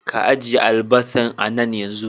Ka ajeye albasan a nan yanzu.